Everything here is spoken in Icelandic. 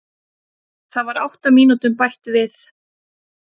Það var átta mínútum bætt við